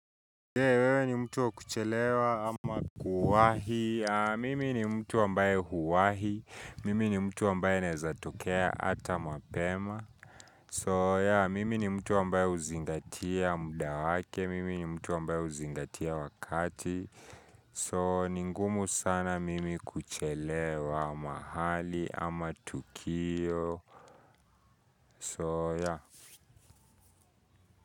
Je, wewe ni mtu wa kuchelewa ama kuwahi? Mimi ni mtu ambaye huwahi, mimi ni mtu ambaye naezatokea ata mapema So, yea, mimi ni mtu ambaye huzingatia muda wake, mimi ni mtu ambae uzingatia wakati So, ni ngumu sana mimi kuchelewa mahali ama tukio, so, yeah.